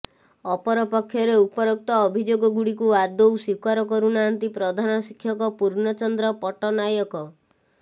ଅପରପକ୍ଷରେ ଉପରୋକ୍ତ ଅଭିଯୋଗ ଗୁଡିକୁ ଆଦୌ ସ୍ୱୀକାର କରୁନାହାନ୍ତି ପ୍ରଧାନ ଶିକ୍ଷକ ପୂର୍ଣ୍ଣଚନ୍ଦ୍ର ପଟନାୟକ